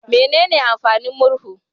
Menene amfanin murhu?